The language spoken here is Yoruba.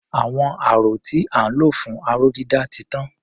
Àwọn aró tí à ń lò fún aró-dídà ti tán.